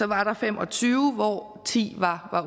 var der fem og tyve hvoraf ti var